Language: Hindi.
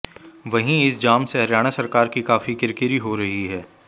वहीं इस जाम से हरियाणा सरकार की काफी किरकिरी हो रही है